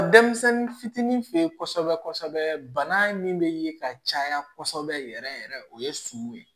Denmisɛnnin fitinin fe yen kɔsɛbɛ kɔsɛbɛ bana min be ye ka caya kosɛbɛ yɛrɛ yɛrɛ o ye suman ye